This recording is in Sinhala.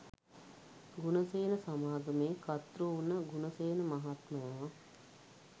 ගුණසේන සමාගමේ කර්තෘ වුණ ගුණසේන මහත්මයා